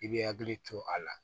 I bɛ hakili to a la